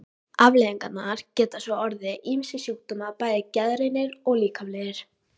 Afleiðingarnar geta svo orðið ýmsir sjúkdómar, bæði geðrænir og líkamlegir.